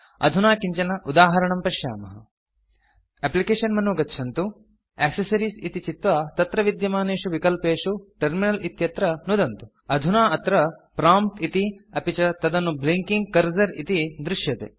अधुना किञ्चन उदाहरणं पश्यामः एप्लिकेशन मेनु गच्छन्तु एक्सेसरीज़ इति चित्वा तत्र विद्यमानेषु विकल्पेषु टर्मिनल इत्यत्र नुदन्तु अधुना अत्र prompt इति अपि च तदनु ब्लिंकिंग कर्सर इति दृश्यते